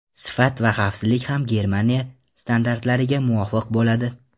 Sifat va xavfsizlik ham Germaniya standartlariga muvofiq bo‘ladi.